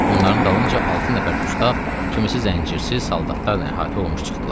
Onların dalınca altı nəfər dustaq kimisi zəncirsiz, saldatlarla əhatə olunmuş çıxdılar.